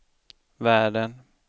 världen